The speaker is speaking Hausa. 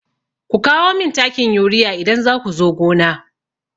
Ku kawo min takin urea idan za ku zo gona!